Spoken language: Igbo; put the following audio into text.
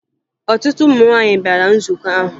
Ọtụtụ ụmụ nwaanyị bịara nzukọ ahụ